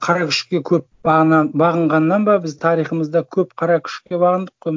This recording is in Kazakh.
қара күшке көп бағынғаннан ба біз тарихымызда көп қара күшке бағындық қой